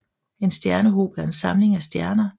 En stjernehob er en samling af stjerner